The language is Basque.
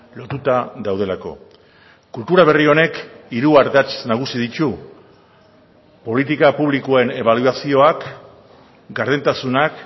lotuta daudelako kultura berri honek hiru ardatz nagusi ditu politika publikoen ebaluazioak gardentasunak